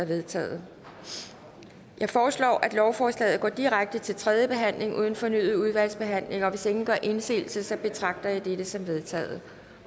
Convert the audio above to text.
vedtaget jeg foreslår at lovforslaget går direkte til tredje behandling uden fornyet udvalgsbehandling hvis ingen gør indsigelse betragter jeg dette som vedtaget